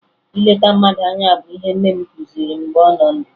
Ileta mmadụ anya bụ ihe nne m kụziri m mgbe ọ nọ ndụ